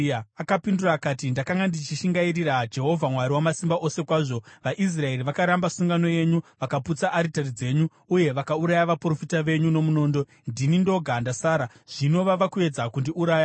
Akapindura akati, “Ndakanga ndichishingairira Jehovha Mwari Wamasimba Ose kwazvo. VaIsraeri vakaramba sungano yenyu, vakaputsa aritari dzenyu, uye vakauraya vaprofita venyu nomunondo. Ndini ndoga ndasara, zvino vava kuedza kundiurayawo.”